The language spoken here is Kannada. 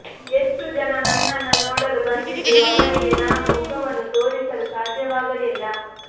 ಎಷ್ಟೋ ಜನ ನನ್ನನ್ನ ನೋಡಲು ಬಂದಿದ್ರು ಅವರಿಗೆ ನಾನು ಮುಖವನ್ನೂ ತೋರಿಸಲು ಸಾಧ್ಯವಾಗಲಿಲ್ಲ